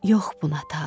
Yox buna tabım.